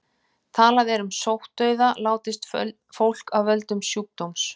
Talað er um sóttdauða látist fólk af völdum sjúkdóms.